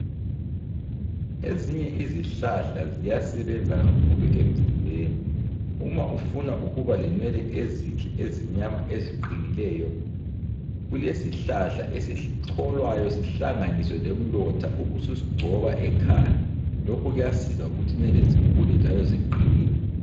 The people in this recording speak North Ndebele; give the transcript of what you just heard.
Ezinye izihlahla ziyasebenza kakhulu emzimbeni. Uma ufuna ukuba lenwele ezinhle ezimnyama eziqinileyo kulesihlahla esicholwayo sihlanganiswe lomlotha ubusugcoba ekhanda. Lokhu kuyasiza ukuba inwele zikhule njalo ziqine.